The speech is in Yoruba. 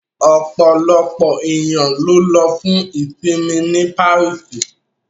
Ọ̀pọ̀lọpọ̀ ènìyàn lọ fún ìṣinmí ní Paríṣì